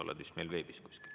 Kristina, sa oled vist veebis.